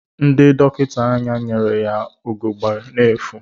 Ndị dọkịta anya nyere ya ugegbe n'efu.